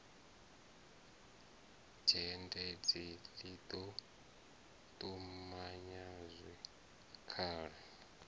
dzhendedzi ḽi ḓo ṱumanya zwikhala